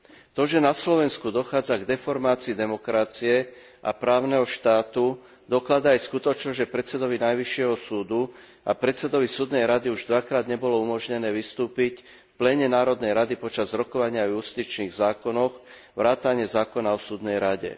To, že na Slovensku dochádza k deformácii demokracie a právneho štátu, dokladá aj skutočnosť, že predsedovi najvyššieho súdu a predsedovi súdnej rady už dvakrát nebolo umožnené vystúpiť v pléne Národnej rady počas rokovania o justičných zákonoch vrátane zákona o súdnej rade.